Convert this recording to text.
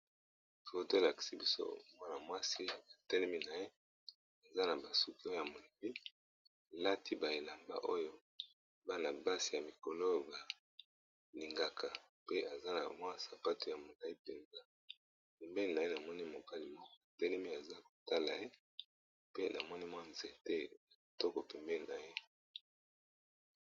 Foto elakisi biso mwana mwasi atelemi na ye aza na ba suki oyo ya molayi alati ba elamba oyo bana basi ya mikolo oyo balingaka penza ,na mwa sapato ya molayi mpenza, pembeni na ye na moni mobali moko ya telemi aza kotala ye, namoni mwa nzete kitoko pembeni na ye.